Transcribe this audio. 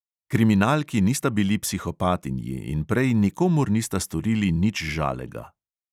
Kriminalki nista bili psihopatinji in prej nikomur nista storili nič žalega.